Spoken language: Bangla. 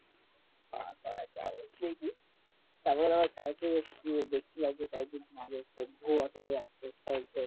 তারপরে যাব দেখি তারপর আবার